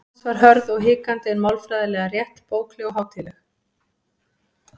Franskan hans var hörð og hikandi en málfræðilega rétt, bókleg og hátíðleg.